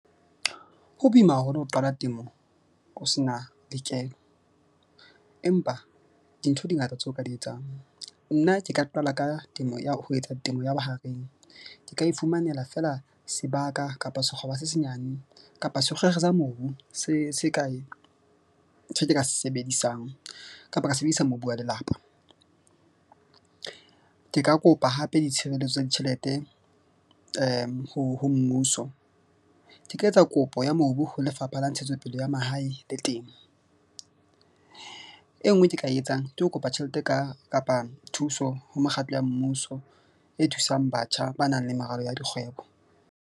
Ho boima haholo ho qala temo ho sena lekeno, empa dintho di ngata tseo ka di etsang. Nna ke ka qala ka temo ya ho etsa temo ya bohareng. Ke ka ifumanela feela sebaka kapa se senyane kapa sa mobu se se kae se ke ka se sebedisang kapa ka sebedisa mobu wa lelapa. Ke ka kopa hape ditshireletso tsa ditjhelete ho mmuso. Ke ka etsa kopo ya mobu ho Lefapha la Ntshetsopele ya Mahae le Temo. E nngwe ke ka e etsang ke ho kopa tjhelete ka kapa thuso ho mekgatlo ya mmuso e thusang batjha ba na leng meralo ya dikgwebo.